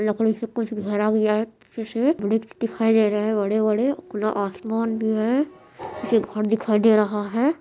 लकड़ी से कुछ घेरा गया है पीछे से वृक्ष दिखाई दे रहा है बड़े-बड़े खुला आसमान भी है फिर घर दिखाई दे रहा है।